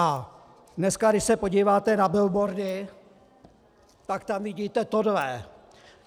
A dneska, když se podíváte na billboardy, pak tam vidíte tohle.